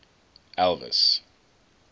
elvis